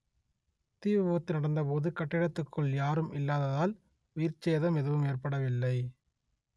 தீ விபத்து நடந்த போது கட்டிடத்துக்குள் யாரும் இல்லாததால் உயிர் சேதம் எதுவும் ஏற்படவில்லை